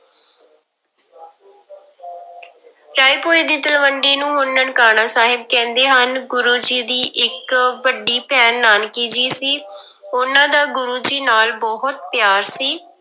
ਰਾਏਭੋਇ ਦੀ ਤਲਵੰਡੀ ਨੂੰ ਹੁਣ ਨਨਕਾਣਾ ਸਾਹਿਬ ਕਹਿੰਦੇ ਹਨ, ਗੁਰੂ ਜੀ ਦੀ ਇੱਕ ਵੱਡੀ ਭੈਣ ਨਾਨਕੀ ਜੀ ਸੀ ਉਹਨਾਂ ਦਾ ਗੁਰੂ ਜੀ ਨਾਲ ਬਹੁਤ ਪਿਆਰ ਸੀ।